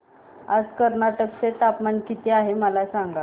आज कर्नाटक चे तापमान किती आहे मला सांगा